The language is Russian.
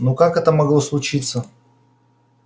но как это могло случиться